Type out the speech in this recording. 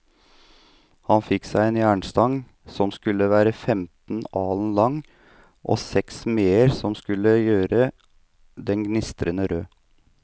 Han fikk seg en jernstang som skulle være femten alen lang, og seks smeder som skulle gjøre den gnistrende rød.